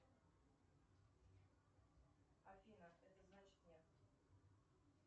афина это значит нет